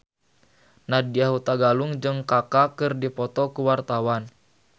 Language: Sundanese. Nadya Hutagalung jeung Kaka keur dipoto ku wartawan